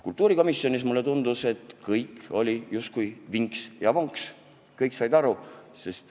Kultuurikomisjonis mulle aga tundus, et kõik oli justkui vinks ja vonks, kõik said aru.